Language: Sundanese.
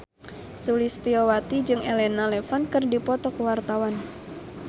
Sulistyowati jeung Elena Levon keur dipoto ku wartawan